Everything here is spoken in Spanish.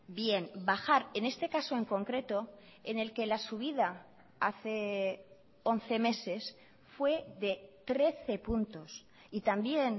bien bajar en este caso en concreto en el que la subida hace once meses fue de trece puntos y también